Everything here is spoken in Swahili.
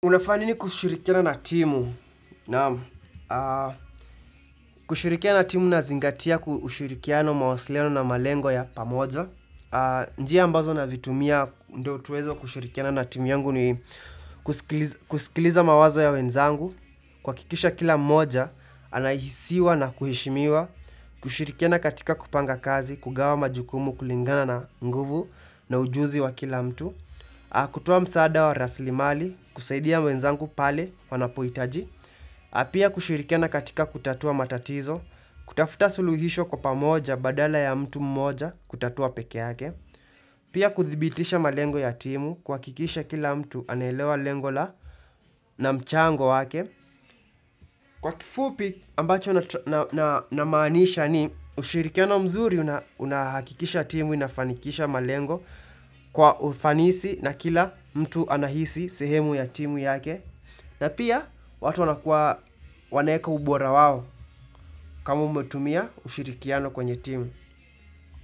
Unafanya ni kushurikiana timu? Kushirikiana timu na zingatia kushurikia na mawasileno na malengo ya pamoja. Njia ambazo na vitumia ndo tuwezo kushurikia na na timu yangu ni kusikiliza mawazo ya wenzangu. Kuhakikisha kila moja, anahisiwa na kuheshimiwa. Kushurikia na katika kupanga kazi, kugawa majukumu kulingana na nguvu na ujuzi wa kila mtu. Ha kutuwa msaada wa raslimali kusaidia mwenzangu pale wanapohitaji Ha pia kushirikiana katika kutatua matatizo kutafuta suluhisho kwa pamoja badala ya mtu mmoja kutatua pekee yake Pia kuthibitisha malengo ya timu kuhakikisha kila mtu anaelewa lengo la na mchango wake Kwa kifupi ambacho na maanisha ni ushirikiano mzuri unahakikisha timu inafanikisha malengo kwa ufanisi na kila mtu anahisi sehemu ya timu yake na pia watu wanakua wanaweka ubora wao kama umetumia ushirikiano kwenye timu.